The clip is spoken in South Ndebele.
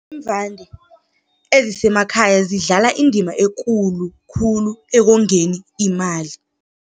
Iimvande, ezisemakhaya zidlala indima ekulu khulu ekongeni imali.